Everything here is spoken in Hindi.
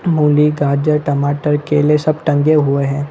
मूली गाजर टमाटर केले सब टंगे हुए है।